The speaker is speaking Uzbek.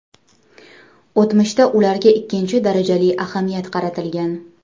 O‘tmishda ularga ikkinchi darajali ahamiyat qaratilgan.